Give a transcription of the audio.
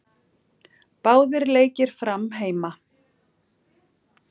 Báðir leikir Fram heima